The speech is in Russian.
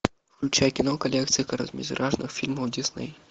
включай кино коллекция короткометражных фильмов дисней